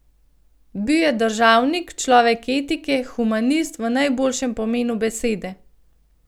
Bil je državnik, človek etike in humanist v najboljšem pomenu besede.